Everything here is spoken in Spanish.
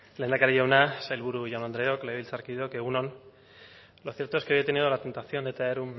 lehendakari jauna sailburu jaun andreok legebiltzar kideok egun on lo cierto es que hoy he tenido la tentación de traer